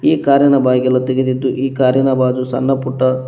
ಈ ಕಾರಿನ ಬಾಗಿಲು ತೆಗೆದಿದ್ದು ಈ ಕಾರಿನ ಬಾಜು ಸಣ್ಣಪುಟ್ಟ--